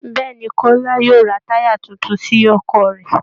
Bẹ́ẹ̀ ni, Kọ́lá yóò ra táyà tuntun sí ọkọ̀ rẹ̀